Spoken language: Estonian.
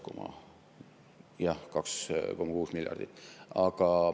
Jah, 2,6 miljardit.